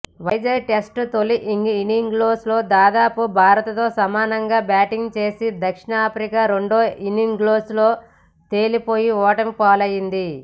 Vizag test తొలి ఇన్నింగ్స్లో దాదాపు భారత్తో సమానంగా బ్యాటింగ్ చేసిన దక్షిణాఫ్రికా రెండో ఇన్నింగ్స్లో తేలిపోయి ఓటమి పాలైంది